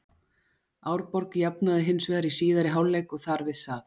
Árborg jafnaði hins vegar í síðari hálfleik og þar við sat.